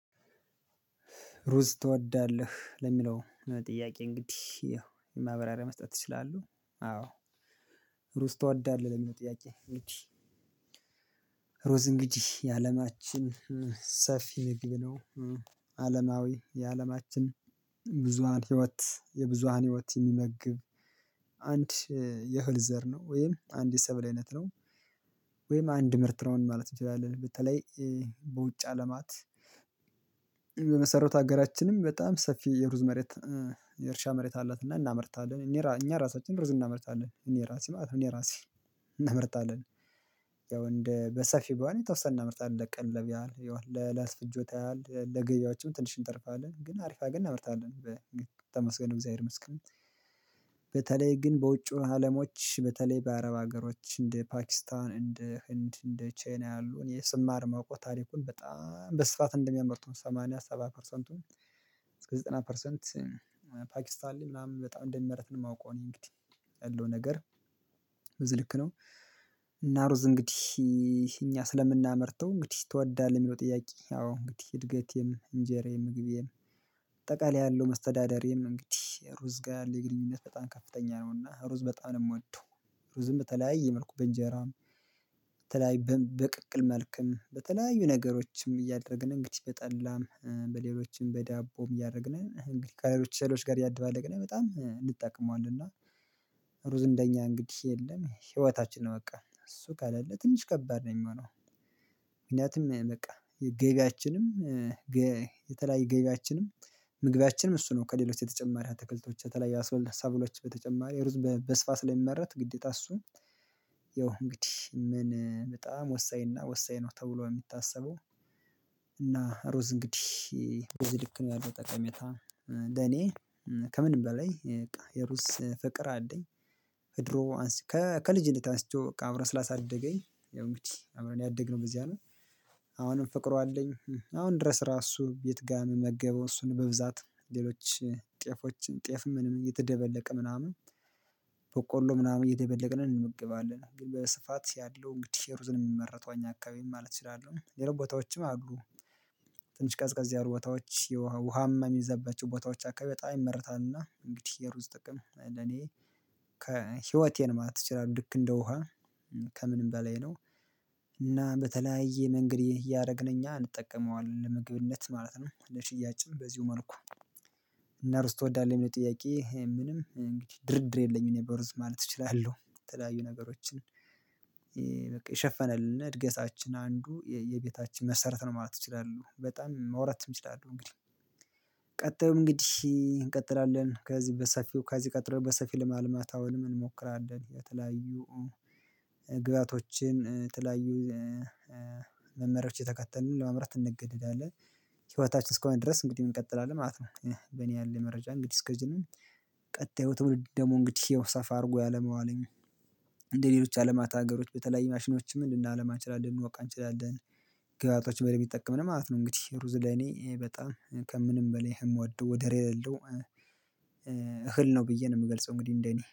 ሩዝ ትወዳለህ ለሚለው ጥያቄ? እንግዲህ ማብራሪያ መስጠት እችላለህ አዎ ሩዝ ተወዳለህ ለሚለው ጥያቄ። ሩዝ እንግዲህ የአለማችን ሰፊ ምግብ ነው። አለማዊ የአለማችን ብዙሃን ህይወት የብዙሃን ህይወት የሚመግብ አንድ የህል ዘር ነው ወይም አንድ የሰብል አይነት ነው። ወይም አንድ ምርት ነው ማለት እንችላለን። በተለይ በውጭ አለማት በመሰረቱ አገራችንም በጣም ሰፊ የሩዝ መሬት የእርሻ መሬት አላትና እናመርታለን እኛ ራሳችን ሩዝ እናመርታለን። እኔ ራሴ ማለት ነው እኔ ራሴ እናመርታለን። ያው እንደ በሰፊ በይሆን የተወሰነ እናመርታለን ለቀለብ ያህል ይላል ለለት ፍጆት ያህል ለገበያዎችም ትንሽ እንተርፋለን ግን አሪፍ አርገን እናምርታለን። በ ተመስገን እግዚአብሔር መስክ። በተለይ ግን በውጪው አለሞች በተለይ በአረብ ሀገሮች እንደ ፓኪስታን እንደ ህንድ እንደ ቻይና ያሉን እኔየ ስማር ማወቅ ታሪኩን በጣም በስፋት እንደሚያመርቱ ሰማንያ ሰባት ፐርሰንቱን እስከ ዘጠና ፐርሰንት። ፓኪስታን ለይ ምናምን በጣም እንደሚመረት ነው የማውቀው እኔ እንግዲህ ያለው ነገር ብዚ ልክ ነው። እና ሩዝ እንግዲህ እኛ ስለምናመርተው እንግዲህ ትወዳለህ የሚለው ጥያቄ አዎ እንግዲህ እድገቴም እንጀራዬም ምግቤም አጠቃላይ ያለው አስተዳደሬም እንግዲህ ሩዝ ጋር የለኝ ግንኙነት በጣም ከፍተኛ ነውና ሩዝ በጣም ነው የምወደው። ሩዝም በተለያየ መልኩ በእንጀራም በተለይ በቅቅል መልክም በተለያዩ ነገሮችም እያደረግን እንግዲህ በጠላም በሌሎችም በዳቦም እያደረግን እንግዲህ ከሌሎች እህሎች ጋር እያድባለቅን በጣም እንጠቀመዋለን እና። ሩዝ እንደኛ እንግዲህ የለም ህይወታችን ነው በቃ እሱ ካላለ ትንሽ ከባድ ነው የምሆነው። ምክንያቱም በቃ የገቢያችንም የተለያየ ገቢያችንም ምግቢያችንም እሱ ነው ከሌሎች ተጨማሪ አተክልቶች በተለይ ሰበል ሰብሎች በተጨማሪ ሩዝ በስፋት ስለሚመረት ግዴታ እሱም ያው እንግዲህ ምን በጣም ወሳኝ እና ወሳኝ ነው ተብሎ የሚታሰበው። እና ሩዝ እንግዲህ ሮዝ ያለው በዚ ልክ ነው ያለው ጠቀሜታ ለኔ ከምንም በላይ የሩዝ ፍቅር አለኝ። እድሮ አንስቶ ከልጅነት አንስቶ በቃ አብረን ስላሳደገኝ እንግዲህ አብረን ያደግነው በዚህ አለኝ አሁንም ፍቅሩ አለኝ አሁን ድረስ ራሱ ቤት ጋር የምመገበው እሱን በብዛት ሌሎች ጤፎችን ጤፍም እየተደበለቀ ምናምን በቆሎ ምናምን እየደበለቅን እንመገባለን። ግን በስፋት ያለው እንግዲህ ሩዝን የምመረተው እኛ አካባቢ ማለት እችላለሁ ሌሎች ቦታዎችም አሉ። ትንሽ ቀዝቀዝ ያሉ ቦታዎች ውሃማ የሚዘበችው ቦታዎች አካባቢ በጣም ይመርታልና እንግዲህ የሩዝ ጥቅም ለኔ እኛ ስለምናመርተው እንግዲህ ትወዳለህ የሚለው ጥያቄ? አዎ እንግዲህ እድገቴም እንጀራዬም ምግቤም አጠቃላይ ያለው አስተዳደሬም እንግዲህ ሩዝ ጋር የለኝ ግንኙነት በጣም ከፍተኛ ነውና ሩዝ በጣም ነው የምወደው። ሩዝም በተለያየ መልኩ በእንጀራም እና በተለያየ መንገድ እያደረግን እኛ እንጠቀመዋለን ለምግብነት ማለት ነው ለሽያጭም በዚሁ መልኩ። እና ሩስ ትወዳለህ ለሚለው ጥያቄ? ምንም እንግዲህ ድርድር የለኝም በሩዝ ማለት እችላለሁ የለያዩ ነገሮችን በቃ የሸፈነልን እድገታችን አንዱ የቤታችን መሰረት ነው ማለት እችላሉሁ በጣም ማውራትም ይችላሉ እንግዲህ። ቀጥሎ እንግዲህ እንቀጥላለን ከዚህ በሰፊው ከዚህ ቀጥሎ በሰፊው ለማልማት አሁን ምን እንሞክራለን የተለያዩ ግብአቶችን የተለያዩ መመሪያዎች እየተከተልን ለማምራት እንገድዳለን ህይወታችን እስከሆነ ድረስ እንግዲህ እንቀጥላለን ማለት ነው። በኔ ያለ መረጃ እንግዲህ አሰከዚ ነው። ቀጥዩ ትውልድ ደግሞ እንግዲህ ሰፋ አድርጎ ያለመዋለኝ እንደሌሎች አለማታ ሀገሮች በተለያዩ ማሽኖችም ልናለማ እንችላለን እንወቃ እንችላለን። ገባቶች በደንብ እይጠቀምን ማለት ነው። እንግዲህ ሩዝ ለኔ በጣም ከምንም በላይ የምወደው ወደር የለው። እህል ነው ብዬ ነው የምገልጸው እንግዲህ እንደኔ